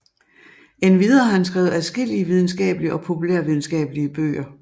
Endvidere har han skrevet adskillige videnskabelige og populærvidenskabelige bøger